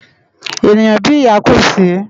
Éniyán bi iyá kó si